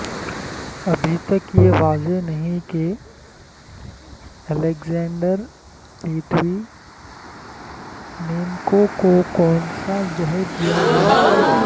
ابھی تک یہ واضح نہیں کہ الیگزینڈر لیتوی نینکو کو کونسا زہر دیا گیا